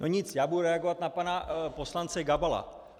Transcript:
No nic, já budu reagovat na pana poslance Gabala.